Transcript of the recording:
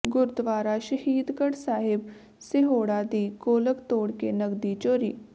ਗੁਰਦੁਆਰਾ ਸ਼ਹੀਦਗੜ੍ਹ ਸਾਹਿਬ ਸਿਹੌੜਾ ਦੀ ਗੋਲਕ ਤੋੜ ਕੇ ਨਕਦੀ ਚੋਰੀ